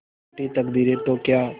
रूठी तकदीरें तो क्या